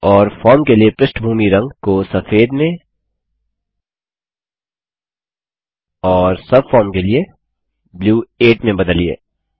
और फॉर्म के लिए पृष्ठभूमि रंगबैकग्राउंड कलर को सफेद में और सबफार्म के लिए ब्लू 8 में बदलिए